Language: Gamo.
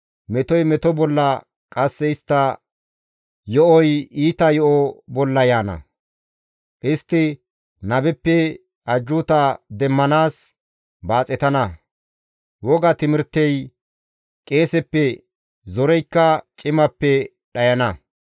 Metoy meto bolla qasse iita yo7oy iita yo7o bolla yaana; istti nabeppe ajjuuta demmanaas baaxetana; woga timirtey qeeseppe, zoreykka cimappe dhayana.